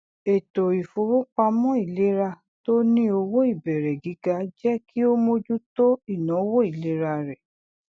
ètò ìfowópamọ ìlera tó ní owó ìbẹrẹ gígá jẹ kí ó mojú tọ ináwó ìlera rẹ